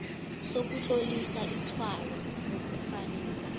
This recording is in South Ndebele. sokutlolisa itshwayo lokufanisa